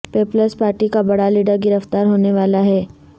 Peoples party کا بڑا leader گرفتار ہونے والا ہے